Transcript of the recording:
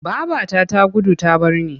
Babata ta gudu ta bar ni.